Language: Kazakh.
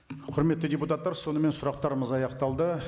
құрметті депутаттар сонымен сұрақтарымыз аяқталды